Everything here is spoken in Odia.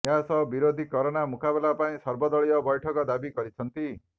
ଏହାସହ ବିରୋଧି କରୋନା ମୁକାବିଲା ପାଇଁ ସର୍ବଦଳୀୟ ବୈଠକ ଦାବି କରିଛନ୍ତି